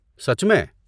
سچ میں؟